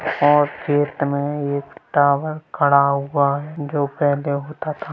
और खेत में एक टावर खड़ा हुआ है जो पहले होता था।